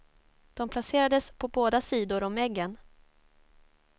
De placerades på båda sidor om eggen.